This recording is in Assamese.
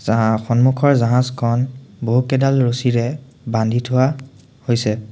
জাহা সন্মুখৰ জাহাজখন বহুকেইডাল ৰছীৰে বান্ধি থোৱা হৈছে।